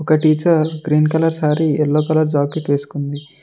ఒక్క teacher green colour sorry yellow colour jacket వేసుకుంది.